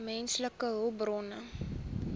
menslike hulpbronne